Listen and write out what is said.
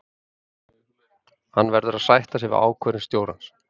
Hann verður að sætta sig við ákvörðun stjórans.